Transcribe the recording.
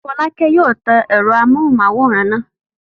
Fọ́lákẹ́ yóò tan ẹ̀rọ amóhùmáwòhán náà.